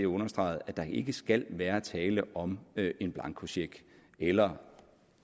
understreget at der ikke skal være tale om en blankocheck eller